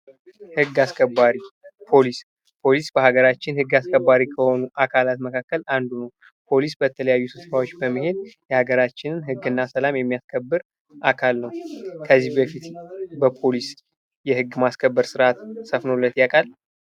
ህግ አስገባሪ ፖሊስ ፖሊስ በሀገራችን ህግ አስከባሪ ከሆኑ አካላት መካከል አንዱ ነው። ፖሊስ በተለያዩ ስፍራዎች በመሄድ የሀገራችንን ህግና ሰላም የሚያስከብር አካል ነው ።ከዚህ በፊት በፖሊስ የህግ ማስከበር ስርአት ሰፍኖሎት ያውቃል።